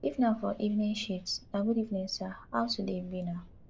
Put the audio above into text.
if na for evening shift na good evening sir how today be na